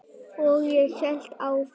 Og ég hélt áfram.